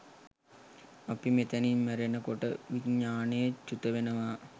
අපි මෙතැනින් මැරෙන කොට විඤ්ඤාණය චුතවෙනවා.